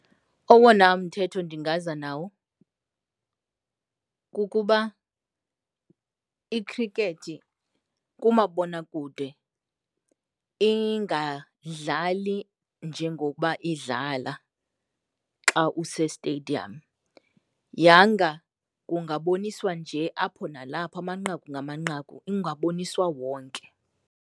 Owona mthetho ndingaza nawo, kukuba ikhrikethi kumabonakude ingadlali njengokuba idlala xa usestadium. Yanga ungaboniswa nje apho nalapho amanqaku ngamanqaku, ungaboniswa wonke.